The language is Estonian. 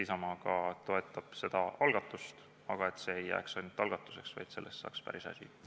Isamaa kindlasti toetab seda algatust – et see ei jääks ainult algatuseks, vaid et sellest saaks päris asi!